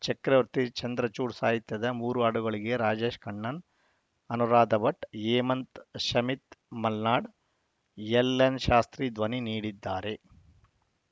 ಚಕ್ರವರ್ತಿ ಚಂದ್ರಚೂಡ್‌ ಸಾಹಿತ್ಯದ ಮೂರು ಹಾಡುಗಳಿಗೆ ರಾಜೇಶ್‌ ಕೃಷ್ಣನ್‌ ಅನುರಾಧ ಭಟ್‌ ಹೇಮಂತ್‌ ಶಮಿತ್ ಮಲ್ನಾಡ್‌ ಎಲ್‌ಎನ್‌ ಶಾಸ್ತ್ರಿ ಧ್ವನಿ ನೀಡಿದ್ದಾರೆ